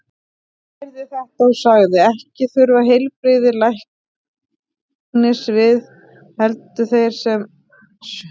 Jesús heyrði þetta og sagði: Ekki þurfa heilbrigðir læknis við, heldur þeir sem sjúkir eru.